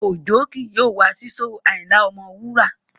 Òjó ki yóò wá sí shóò Ayinla Ọmọwura